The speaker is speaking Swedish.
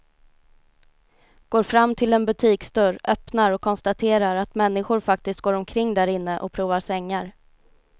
Går fram till en butiksdörr, öppnar och konstaterar att människor faktiskt går omkring därinne och provar sängar.